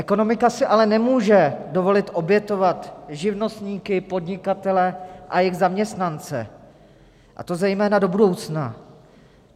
Ekonomika si ale nemůže dovolit obětovat živnostníky, podnikatele a jejich zaměstnance, a to zejména do budoucna.